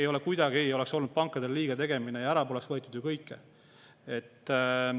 Ja see kuidagi ei oleks olnud pankadele liigategemine, ja poleks ära võetud ju kõike.